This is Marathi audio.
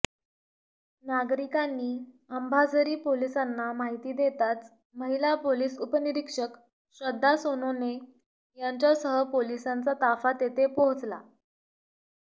नागरिकांनी अंबाझरी पोलिसांना माहिती देताच महिला पोलिस उपनिरीक्षक श्रद्धा सोनोने यांच्यासह पोलिसांचा ताफा तेथे पोहोचला